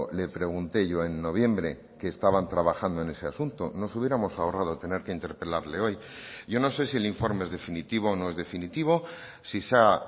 le pregunte yo en noviembre que estaban trabajando en ese asunto nos hubiéramos ahorrado tener que interpelarle hoy yo no sé si el informe es definitivo o no es definitivo si se ha